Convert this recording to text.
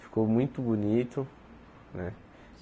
Ficou muito bonito, né?